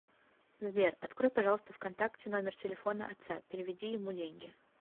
сбер открой пожалуйста в контакте номер телефона отца переведи ему деньги